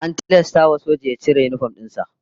An tilasta wa sojan ya cire yinifom din sa